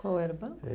Qual era o banco?